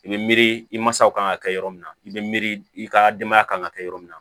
I bɛ miiri i masaw kan ka kɛ yɔrɔ min na i bɛ miiri i ka denbaya kan ka kɛ yɔrɔ min na